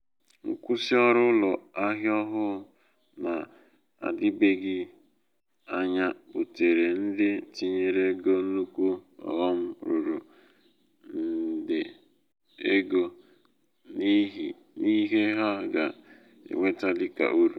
nkwụsị ọrụ ụlọ ahịa ọhụụ na-adịbeghị anya butere ndị tinyere ego nnukwu oghom ruru nde ego n’ihe ha ga-enweta dịka uru.